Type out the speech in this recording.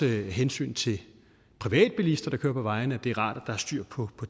hensyn til privatbilisterne der kører på vejene det er rart der er styr på